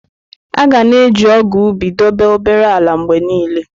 A ga na-eji ọgụ̀ ubi dobe obere ala mgbe niile.